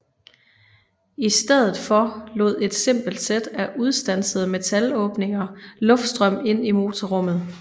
I stedet for lod et simpelt sæt af udstansede metalåbninger luftstrøm ind i motorrummet